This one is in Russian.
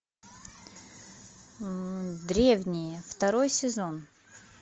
древние второй сезон